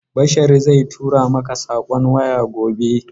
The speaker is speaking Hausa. Bashari zan tura maka saƙon waya gobe.